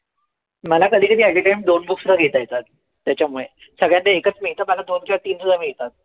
मला कधी-कधी at a time दोन books सुद्धा घेता येतात. सगळ्यांना एकच मिळतं, मला दोन किंवा तीन सुद्धा मिळतात.